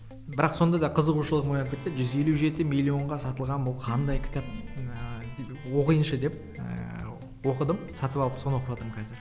бірақ сонда да қызығушылығым оянып кетті де жүз елу жеті миллионға сатылған бұл қандай кітап ыыы деп оқиыншы деп ыыы оқыдым сатып алып соны оқып жатырмын қазір